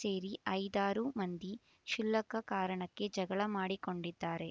ಸೇರಿ ಐದಾರು ಮಂದಿ ಕ್ಷುಲ್ಲಕ ಕಾರಣಕ್ಕೆ ಜಗಳ ಮಾಡಿಕೊಂಡಿದ್ದಾರೆ